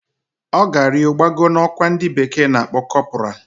Oga rio gbago na okwa ndi bekee na-akpo corporal